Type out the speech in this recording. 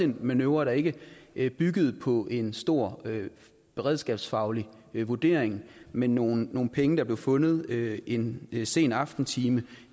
en manøvre der ikke ikke byggede på en stor beredskabsfaglig vurdering men nogle penge der blev fundet en sen aftentime